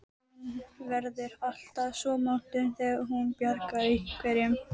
Hún verður alltaf svo montin þegar hún bjargar einhverjum.